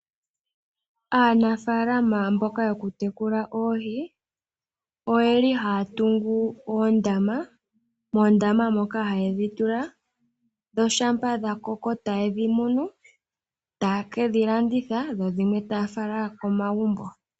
Aanafaalama mboka yokutekula oohi oye li haa tungu oondama, moondama moka haye dhi tula, dho shampa dha koko taye dhi munu, taa ke dhi landitha, dho dhimwe taa fala komagumbo.